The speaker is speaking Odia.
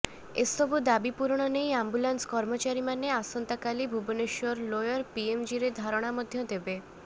ଏ ସବୁ ଦାବି ପୂରଣ ନେଇ ଆମ୍ବୁଲାନ୍ସ କର୍ମଚାରୀମାନେ ଆସନ୍ତାକାଲି ଭୁବନେଶ୍ୱର ଲୋୟର ପିଏମଜିରେ ଧାରଣା ମଧ୍ୟ ଦେବେ